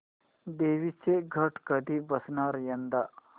देवींचे घट कधी बसणार यंदा